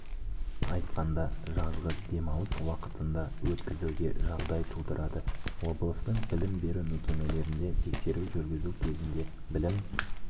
айтқанда жазғы демалыс уақытында өткізуге жағдай тудырады облыстың білім беру мекемелерінде тексеру жүргізу кезінде білім